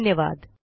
सहभागासाठी धन्यवाद